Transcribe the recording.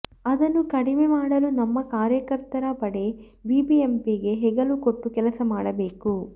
ಅದನ್ನು ಕಡಿಮೆ ಮಾಡಲು ನಮ್ಮ ಕಾರ್ಯಕರ್ತರ ಪಡೆ ಬಿಬಿಎಂಪಿಗೆ ಹೆಗಲು ಕೊಟ್ಟು ಕೆಲಸ ಮಾಡಬೇಕು